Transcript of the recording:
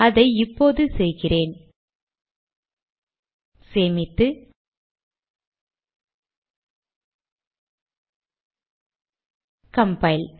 அதை இப்போது செய்கிறேன் சேமித்து கம்பைல்